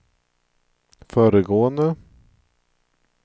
föregående